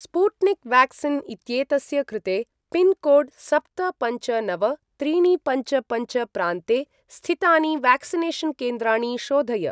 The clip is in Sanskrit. स्पुट्निक् व्याक्सीन् इत्येतस्य कृते पिन्कोड् सप्त पञ्च नव त्रीणि पञ्च पञ्च प्रान्ते स्थितानि व्याक्सिनेषन् केन्द्राणि शोधय।